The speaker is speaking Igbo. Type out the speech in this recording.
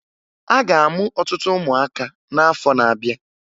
A ga-amụ ọtụtụ ụmụaka n'afọ na-abịa